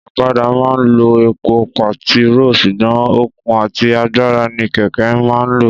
Ọ̀kadà má ń lo epo pẹtiro sùgbón okun àti agbára ní kẹ̀kẹ́ má ń lo